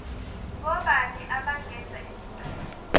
ngobani abangenza isicelo